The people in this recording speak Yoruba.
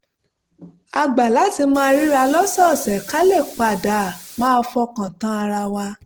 a gbà láti máa ríra lọ́sọ̀ọ̀sẹ̀ ká lè pa dà máa fọkàn tán ara wa